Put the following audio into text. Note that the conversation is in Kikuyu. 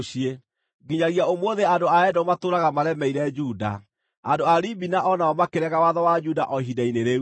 Nginyagia ũmũthĩ andũ a Edomu matũũraga maremeire Juda. Andũ a Libina o nao makĩrega watho wa Juda o ihinda-inĩ rĩu.